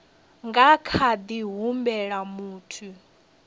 nga kha ḓi humbela muthu